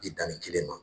Bi danni kelen ma